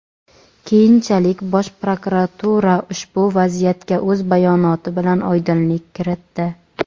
Keyinchalik Bosh prokuratura ushbu vaziyatga o‘z bayonoti bilan oydinlik kiritdi.